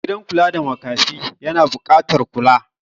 gidan kula da makafi yana bukatar kula